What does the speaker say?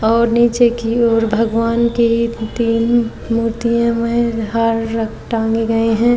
और नीचे की ओर भगवान की तीन मूर्तियाँ में हार रख टाँगे गए हैं।